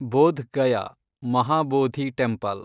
Bodh Gaya, Mahabodhi temple